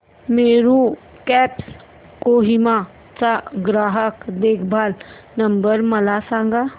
Meru cabs Kohima चा ग्राहक देखभाल नंबर मला सांगा